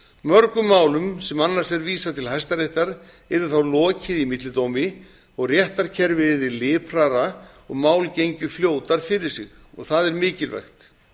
mörgum málum sem annars er vísað til hæstaréttar yrði þá lokið í millidómi og réttarkerfið yrði liprara og mál gengju fljótar fyrir sig og það er mikilvægt